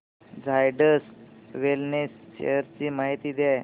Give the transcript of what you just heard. Zydus wellness shares ची माहिती द्या